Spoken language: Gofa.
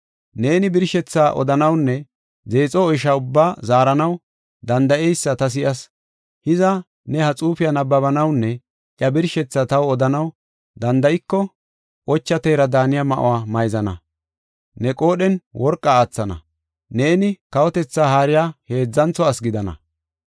Neeni birshethaa odanawunne deexo oysha ubbaa zaaranaw danda7eysa ta si7as. Hiza ne ha xuufiya nabbabanawunne iya birshethaa taw odanaw danda7iko, ocha teera daaniya ma7uwa mayzana; ne qoodhen worqa aathana; neeni, kawotetha haariya heedzantho ase gidana.”